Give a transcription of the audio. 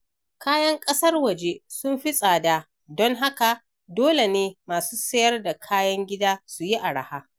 Kayan ƙasar waje sun fi tsada, don haka dole ne masu siyar da kayan gida su yi arha.